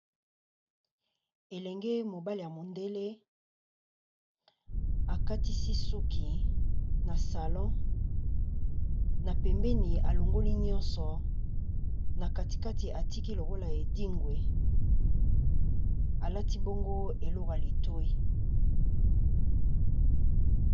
Elenge mobali ya mondele akatisi suki na salon. Na pembeni alongoli nyonso, na kati kati atiki lokola edingwe. Alati bongo eloko ya litoyi.